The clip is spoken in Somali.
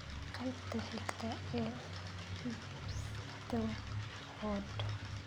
qaybta xigta ee hipsterhood